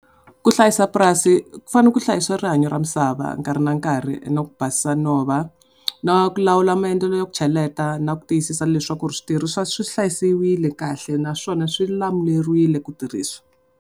Ku hlayisa purasi ku fanele ku hlayisiwa rihanyo ra misava nkarhi na nkarhi, na ku basisa nhova, na ku lawula maendlelo ya ku cheleta na ku tiyisisa leswaku switirhisiwa swi hlayisiwile kahle naswona swi lulamerile ku tirhisiwa.